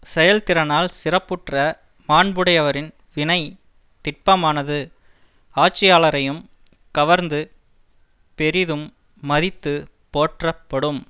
செயல் திறனால் சிறப்புற்ற மாண்புடையவரின் வினை திட்பமானது ஆட்சியாளரையும் கவர்ந்து பெரிதும் மதித்து போற்றப்படும்